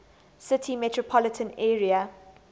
city metropolitan area